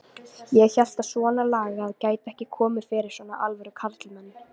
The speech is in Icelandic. Ég hélt að svonalagað gæti ekki komið fyrir svona alvöru karlmenn.